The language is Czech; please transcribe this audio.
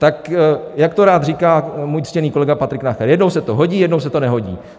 Tak jak to rád říká můj ctěný kolega Patrik Nacher, jednou se to hodí, jednou se to nehodí.